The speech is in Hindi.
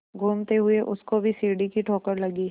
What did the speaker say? घूमते हुए उसको भी सीढ़ी की ठोकर लगी